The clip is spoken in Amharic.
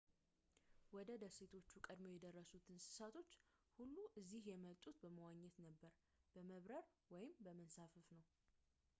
ወደ ደሴቶቹ ቀድመው የደረሱት እንሳቶች ሁሉ እዚህ የመጡት በመዋኘት በመብረር ወይም በመንሳፈፍ ነው